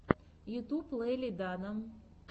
ютюб лели дана